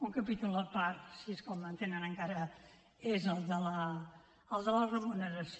un capítol a part si és que el mantenen encara és el de la remuneració